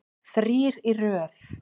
Þrír í röð.